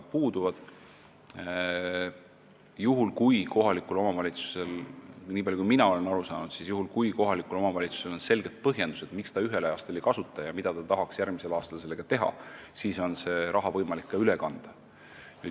Nii palju kui mina aru saanud olen, siis on seda raha võimalik ka üle kanda, juhul kui kohalikul omavalitsusel on selged põhjendused, miks ta seda ühel aastal ei kasutanud ja mida ta tahaks sellega järgmisel aastal teha.